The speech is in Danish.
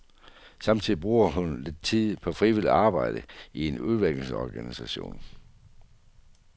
Samtidig bruger hun lidt tid på frivilligt arbejde i en udvekslingsorganisation.